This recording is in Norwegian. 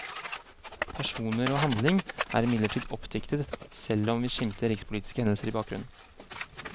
Personer og handling er imidlertid oppdiktet selv om vi skimter rikspolitiske hendelser i bakgrunnen.